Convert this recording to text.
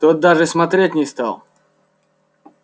тот даже смотреть не стал